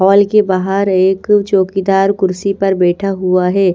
हाल के बाहर एक चौकीदार कुर्सी पर बैठा हुआ है।